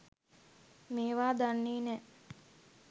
මේවා දන්නේ නෑ